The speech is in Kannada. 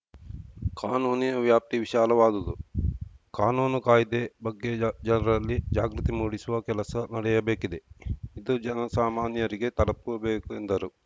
ಕಾನೂನಿನ ವ್ಯಾಪ್ತಿ ವಿಶಾಲವಾದುದು ಕಾನೂನು ಕಾಯ್ದೆ ಬಗ್ಗೆ ಜನರಲ್ಲಿ ಜಾಗೃತಿ ಮೂಡಿಸುವ ಕೆಲಸ ನಡೆಯಬೇಕಿದೆ ಇದು ಜನಸಾಮಾನ್ಯರಿಗೆ ತಲುಪಬೇಕು ಎಂದರು